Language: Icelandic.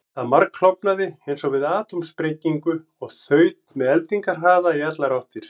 Það margklofnaði eins og við atómsprengingu og þaut með eldingarhraða í allar áttir.